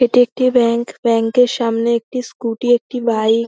এটি একটি bank. Bank -এর সামনে একটি স্কুটি একটি বাইক --